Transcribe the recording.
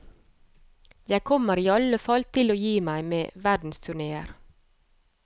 Jeg kommer i alle fall til å gi meg med verdensturnéer.